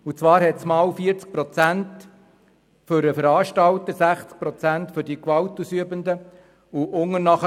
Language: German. Unter Absatz 1 übernimmt der Veranstalter höchstens 40 Prozent der Kosten und die Gewalt ausübenden Personen 60 Prozent.